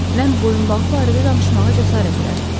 Mən boyunbağı barədə danışmağa cəsarət elədim.